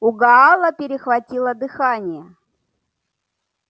у гаала перехватило дыхание